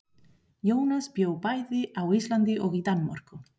Jónas bjó bæði á Íslandi og í Danmörku.